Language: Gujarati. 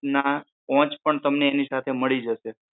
ના પોંચ પણ તમને એની સાથે મળી જશે